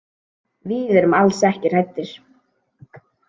Við erum alls ekki hræddir.